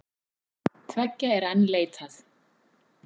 Tveggja er enn leitað.